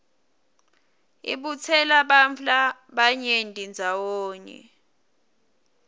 ibutsela bantfu labanyenti ndzawonye